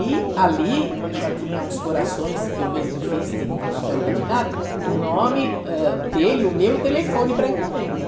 E ali já tinha uns corações que eu mesmo fiz de de papel laminado, com o nome, ãh, dele e o meu telefone para encomenda.